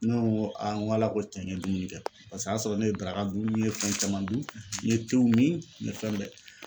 Ne ko n ko ala ko cɛn n ye dumuni kɛ. Paseke o y'a sɔrɔ ne ye daraka dun ne ye fɛn caman dun n ye mi , n ye fɛn bɛɛ